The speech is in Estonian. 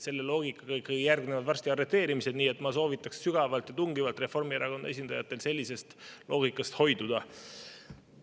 Selle loogika põhjal järgneksid varsti arreteerimised, nii et ma soovitan sügavalt ja tungivalt Reformierakonna esindajatel sellisest loogikast hoiduda.